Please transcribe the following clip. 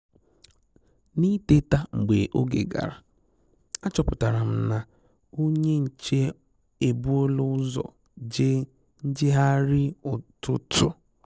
N'ị́tétà mgbe oge gara, àchọ́pụ̀tàrà m na onye nchè èbùòlà ụ́zọ̀ jèè njègharị ụ́tụ́tụ́.